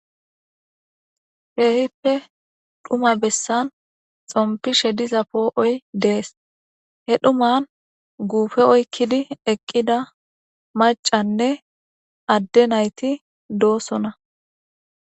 Keehippe dhuma bessan xompishe diza poo'oy dees he dhuman guufe oykkidi eqqida maccanne adde nayti doosona.